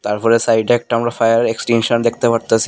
তারপরে সাইডে একটা আমরা ফায়ার এক্সটেনশন দেখতে পারতাসি।